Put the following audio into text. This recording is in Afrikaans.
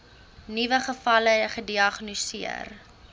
nuwe gevalle gediagnoseer